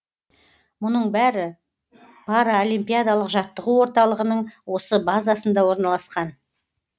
мұның бәрі паралимпиадалық жаттығу орталығының осы базасында орналасқан